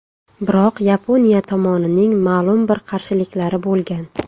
Biroq Yaponiya tomonining ma’lum bir qarshiliklari bo‘lgan.